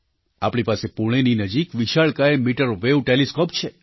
આપણી પાસે પૂણેની નજીકવિશાળકાય મીટરવૅવ ટૅલિસ્કૉપ છે